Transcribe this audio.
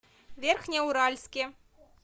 верхнеуральске